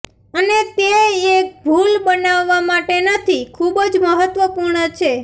અને તે એક ભૂલ બનાવવા માટે નથી ખૂબ જ મહત્વપૂર્ણ છે